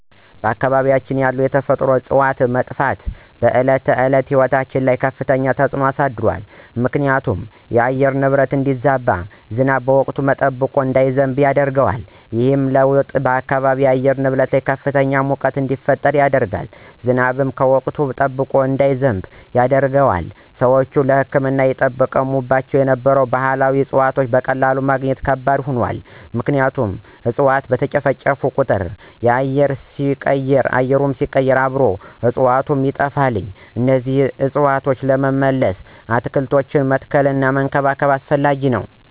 በአካባቢያችን ያሉ የተፈጥሮ እፅዋት መጥፋት በዕለት ተዕለት ሕይወት ላይ ከፍተኛ ተጽዕኖ አሳድሯል ምክንያቱም የአየር ንብረቱ እንዲዛባ፣ ዝናብ ወቅቱን ጠብቆ እንዳይዘንብ ያደርገዋል። ይህ ለውጥ በአካባቢው የአየር ንብረት ላይ ከፍተኛ ሙቀት እንዲፈጠር ያደርጋል፣ ዝናብም ወቅቱን ጠብቆ እንዳይዘንብ ያደርጋል። ሰዎች ለሕክምና ይጠቀሙባቸው የነበሩ ባህላዊ እፅዋትን በቀላሉ ማግኘት ከባድ ሆኗል ምክንያቱም እፅዋት በተጨፈጨፉ ቁጥር አየሩ ሲቀየር አብረው እፅዋቱም ይጠፋሉ እነዚህን እፅዋት ለመመለስ አትክልቶችን መትከልና መንከባከብ አስፈላጊ ነው።